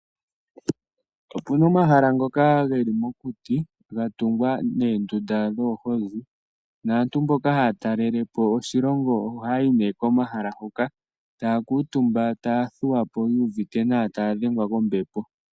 Opuna omahala ngoka geli mokuti ga tungwa noondunda dhoohozi, naantu mboka haya talelepo oshilongo ohaya yi nee komahala huka. Taya kuutumba taya thuwapo ya uvite nawa, taya dhengwa kombepo.